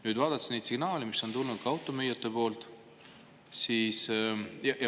Nüüd, vaadates neid signaale, mis on tulnud ka automüüjatelt …